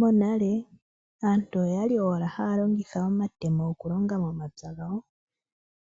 Monale aantu oyali owala haya longitha omatemo, okulonga momapya gawo.